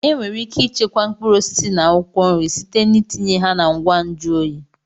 Enwere ike ichekwa mkpụrụ osisi na akwụkwọ nri site na itinye ha na ngwa nju oyi.